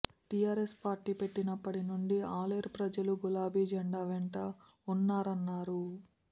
TRS party పెట్టినప్పటి నుంచి ఆలేరు ప్రజలు గులాబీ జెండా వెంటే ఉన్నారన్నారు